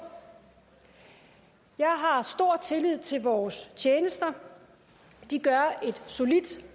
jeg har stor tillid til vores tjenester de gør et solidt